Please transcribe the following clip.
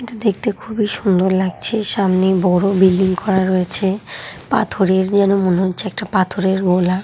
এটা দেখতে খুবই সুন্দর লাগছে সামনে বড় বিল্ডিং করা হয়েছে পাথরের যেন মনে হচ্ছে একটা পাথরের গোলা।